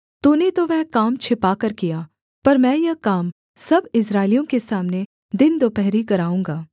तूने तो वह काम छिपाकर किया पर मैं यह काम सब इस्राएलियों के सामने दिन दुपहरी कराऊँगा